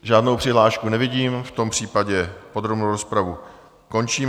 Žádnou přihlášku nevidím, v tom případě podrobnou rozpravu končím.